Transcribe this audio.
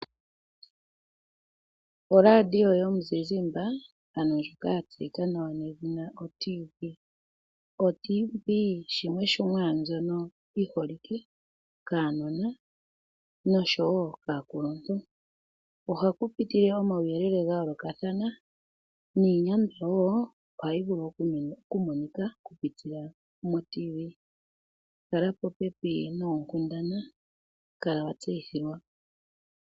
Oradio yomuzizimba ano ndjoka ya tseyika nawa nedhina oTV, oyo yimwe yomiinima mbyono yiholikwe kaanona noshowo aakuluntu. Ohakupitile omauyelele ga yoolokathana, niinyandwa woo oha yi vulu okumonika oku pitila mo Radio yomuzizimba, kala popepi noonkundana, kala watseyithilwa.